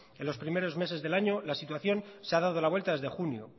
en los primeros meses del año la situación se ha dado la vuelta desde junio